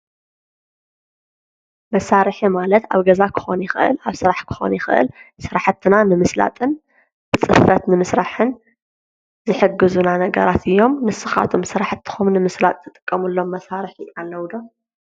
መሳርሒ ማለት ኣብ ገዛ ክኾን ይኽእል ኣብ ስራሕ ክኾን ይኽእል ስራሕትና ንምስላጥን ብጽፈት ንምስራሕን ዝሕግዙና ነገራት እዮም። ንስኻቶም ስራሕትኹም ንምስላጥ ትጥቀሙሎም መሳርሒ ኣለዉ ዶ?